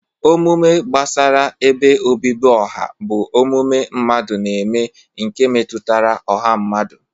Omume gbasara ebe obibi ọha bụ omume mmadụ na-eme nke metụtara ọha mmadụ.